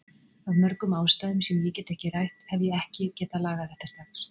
Af mörgum ástæðum sem ég get ekki rætt, hef ég ekki getað lagað þetta strax.